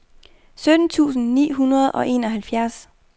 sytten tusind ni hundrede og enoghalvfjerds